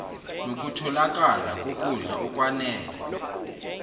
nokutholakala kokudla okwanele